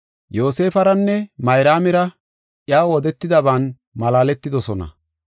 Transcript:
Yoosefaranne Mayraamira iyaw odetidaban malaaletidosona.